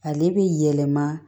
Ale bi yɛlɛma